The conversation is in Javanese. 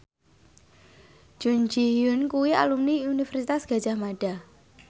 Jun Ji Hyun kuwi alumni Universitas Gadjah Mada